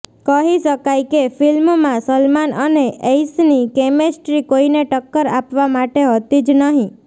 કહી શકાય કે ફિલ્મમાં સલમાન અને ઐશની કેમેસ્ટ્રી કોઇને ટક્કર આપવા માટે હતી જ નહીં